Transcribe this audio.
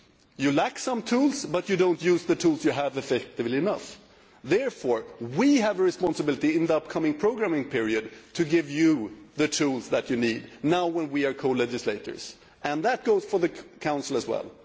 You lack some tools, but you do not use the tools which you have effectively enough. Therefore, we have a responsibility in the upcoming programming period to give you the tools which you need now when we are co legislators. That goes for the Council as well.